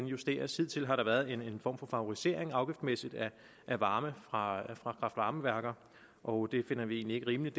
justeres hidtil har der været en form for favorisering afgiftsmæssigt af varme fra kraft varme værker og det finder vi egentlig ikke rimeligt